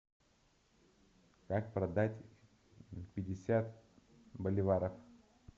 как продать пятьдесят боливаров